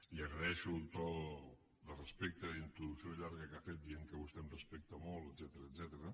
li agraeixo el to de respecte a la introducció llarga que ha fet dient que vostè em respecta molt etcètera